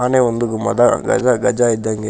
ಆನೆ ಒಂದು ಮದ ಗಜ ಗಜ ಇದ್ದಂಗೆ.